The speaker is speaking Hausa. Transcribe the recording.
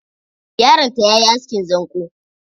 Yaron ta yayi askin zanƙo.